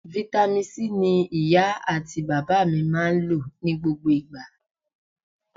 Vitamin C ni iya ati baba mi maa n lo ni gbogbo igba.